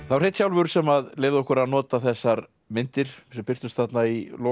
Hreinn sjálfur sem leyfði okkur að nota þessar myndir sem birtust þarna í lok